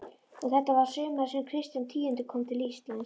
Og þetta var sumarið sem Kristján tíundi kom til Íslands.